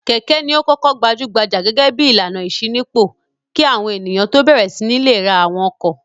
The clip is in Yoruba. Kẹ̀kẹ́ ni ó kọ́kọ́ gbajú-gbajà gẹ́gẹ́ bí ìlànà ìṣínípò kí àwọn ènìyàn tó bẹ̀rẹ̀ sí ní le ra àwọn ọkọ̀.